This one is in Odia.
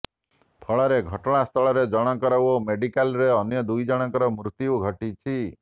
ଫଳରେ ଘଟଣାସ୍ଥଳରେ ଜଣଙ୍କର ଓ ମେଡିକାଲ୍ରେ ଅନ୍ୟ ଦୁଇ ଜଣଙ୍କର ମୃତ୍ୟୁ ଘଟିଛି